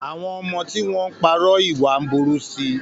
Àwọn ọmọ tí wọ́n ń parọ́ ìwà ń burú sí i.